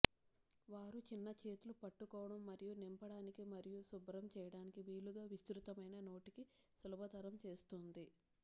వారు చిన్న చేతులు పట్టుకోవడం మరియు నింపడానికి మరియు శుభ్రం చేయడానికి వీలుగా విస్తృతమైన నోటికి సులభతరం చేస్తుంది